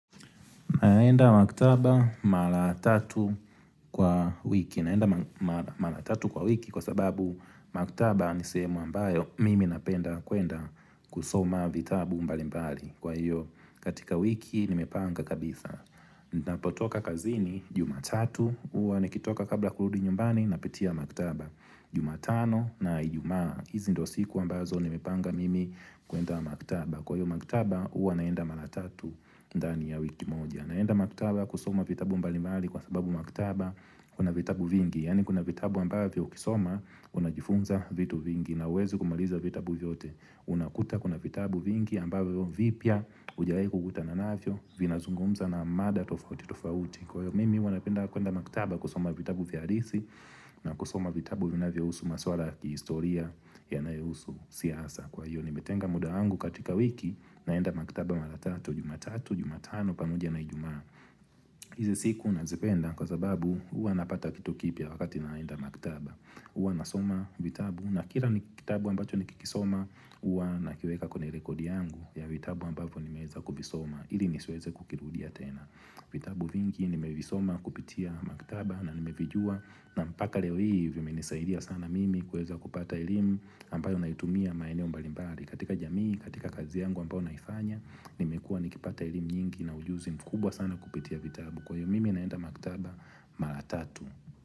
Naenda maktaba mara tatu kwa wiki. Naenda mara tatu kwa wiki kwa sababu maktaba ni sehemu ambayo mimi napenda kwenda kusoma vitabu mbali mbali. Kwa hiyo katika wiki nimepanga kabisa. Ninapotoka kazini, jumatatu, huwa nikitoka kabla kurudi nyumbani napitia maktaba. Jumatano na ijumaa. Hizi ndo siku ambazo nimepanga mimi kwenda maktaba. Kwa hiyo maktaba, huwa naenda mara tatu ndani ya wiki moja. Naenda maktaba kusoma vitabu mbalimali kwa sababu maktaba kuna vitabu vingi Yaani kuna vitabu ambavyo ukisoma unajifunza vitu vingi na huwezi kumaliza vitabu vyote unakuta kuna vitabu vingi ambavyo vipya hujawahi kukutana navyo Vinazungumza na mada tofauti tofauti Kwa hivyo mimi huwa napenda kwenda maktaba kusoma vitabu via halisi na kusoma vitabu vinavyohusu maswala ya kihistoria yanayohusu siasa Kwa hiyo nimetenga muda wangu katika wiki naenda maktaba mara tatu, jumatatu, jumatano pamoja na ijumaa. Hizi siku nazipenda kwa sababu huwa napata vitu kipya wakati naenda maktaba. Huwa nasoma vitabu na kila kitabu ambacho nikikisoma huwa nakiweka kwenye rekodi yangu ya vitabu ambavyo nimeeza kuvisoma ili nisiweze kukirudia tena. Vitabu vingi nimevisoma kupitia maktaba na nimevijua na mpaka leo hii vimenisaidia sana mimi kueza kupata elimu ambayo naitumia maeneo mbalimbali. Katika jamii katika kazi yangu ambayo naifanya nimekua nikipata elimu nyingi na ujuzi mkubwa sana kupitia vitabu kwa hivyo mimi naenda maktaba mara tatu.